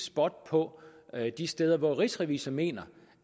spot på de steder hvor rigsrevisor mener